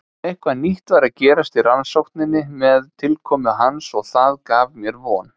Eitthvað nýtt var að gerast í rannsókninni með tilkomu hans og það gaf mér von.